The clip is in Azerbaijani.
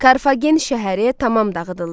Karfagen şəhəri tamam dağıdıldı.